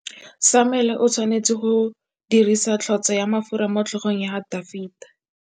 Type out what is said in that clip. Samuele o tshwanetse go dirisa tlotsô ya mafura motlhôgong ya Dafita.